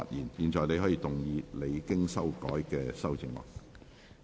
你現在可以動議你經修改的修正案。